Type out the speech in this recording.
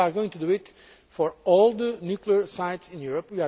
We are going to do this for all the nuclear sites in Europe.